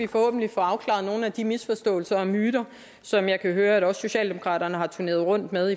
vi forhåbentlig får afklaret nogle af de misforståelser og myter som jeg kan høre at også socialdemokraterne har turneret rundt med